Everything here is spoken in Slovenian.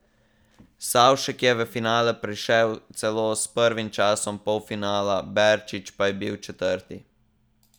Savšek je v finale prišel celo s prvim časom polfinala, Berčič pa je bil četrti.